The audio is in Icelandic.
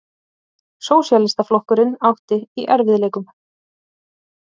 Sósíalistaflokkurinn átti í erfiðleikum.